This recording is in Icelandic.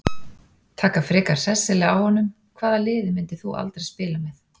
Taka frekar hressilega á honum Hvaða liði myndir þú aldrei spila með?